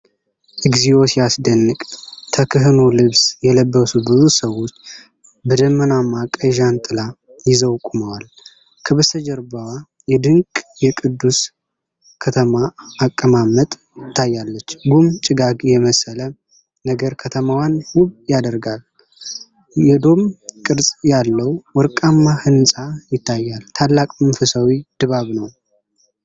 እግዚኦ ሲያስደንቅ! ተክህኖ ልብስ የለበሱ ብዙ ሰዎች በደመናማ ቀይ ጃንጥላ ይዘው ቆመዋል። ከበስተጀርባዋ የድንቅ የቅዱስ ከተማ አቀማመጥ ትታያለች። ጉም ጭጋግ የመሰለ ነገር ከተማዋን ውብ ያደርጋል። የዶም ቅርጽ ያለው ወርቃማው ሕንፃ ይታያል። ታላቅ መንፈሳዊ ድባብ!